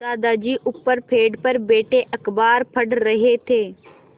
दादाजी ऊपर पेड़ पर बैठे अखबार पढ़ रहे थे